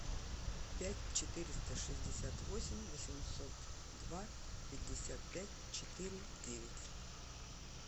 пять четыреста шестьдесят восемь восемьсот два пятьдесят пять четыре девять